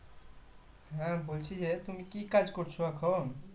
হ্যাঁ, বলছি যে তুমি কি কাজ করছো এখন?